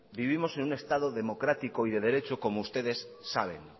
vivimos en un estado democrático y de derecho como ustedes saben